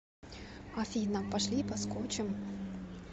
афина пошли поскочем